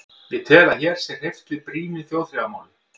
Ég tel, að hér sé hreyft brýnu þjóðþrifamáli.